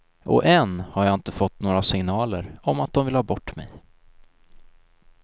Och än har jag inte fått några signaler om att de vill ha bort mig.